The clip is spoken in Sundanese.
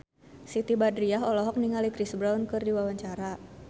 Siti Badriah olohok ningali Chris Brown keur diwawancara